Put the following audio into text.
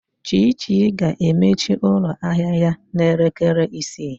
Chichi ga-emechi ụlọ ahịa ya n'elekere isii.